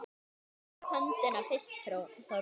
Rétta upp höndina fyrst Þórður.